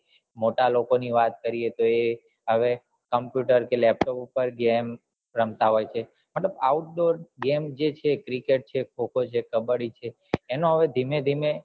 મોટા લોકો ની વાત કરીએ તો એ હવે computer કે laptop પર કે એમ રમતા હોય છે મતલબ outdoor game જે છે cricket છે ખો ખો છે કબ્બડી એનો હવે ધીમેં ધીમે